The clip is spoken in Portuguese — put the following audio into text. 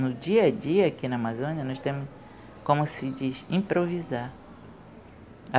No dia a dia aqui na Amazônia, nós temos como se diz, improvisar.